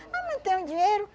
Ah, mas não tenho dinheiro.